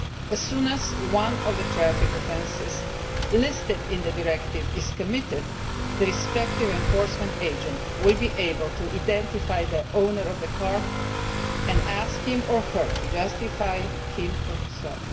As soon as one of the traffic offences listed in the directive is committed, the respective enforcement agent will be able to identify the owner of the car and ask him or her to justify him herself.